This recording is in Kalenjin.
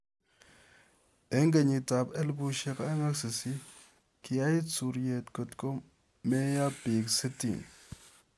Eng' kenyiit ap 2008, kiyaiit suuryet, kotko komeeiyo piik sitini.